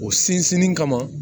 O sinsinnen kama